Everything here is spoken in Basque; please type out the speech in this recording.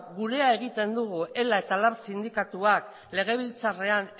gurea egiten dugu ela eta lab sindikatuak legebiltzarrean